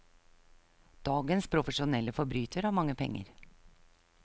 Dagens profesjonelle forbryter har mange penger.